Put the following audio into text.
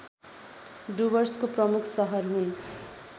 डुवर्सको प्रमुख सहर हुन्